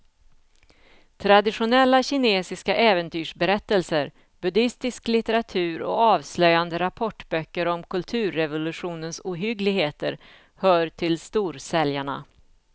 Traditionella kinesiska äventyrsberättelser, buddistisk litteratur och avslöjande rapportböcker om kulturrevolutionens ohyggligheter hör till storsäljarna.